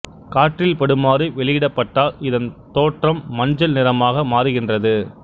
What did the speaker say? காற்றில் படுமாறு வெளியிடப்பட்டால் இதன் தோற்றம் மஞ்சள் நிறமாக மாறுகின்றது